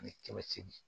Ani kɛmɛ seegin